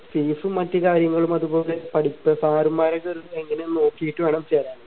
fees മറ്റ് കാര്യങ്ങളും അതുപോലെ പഠിപ്പ് sir മാര് ഒക്കെ എങ്ങനെ നോക്കിയിട്ട് വേണം ചേരാൻ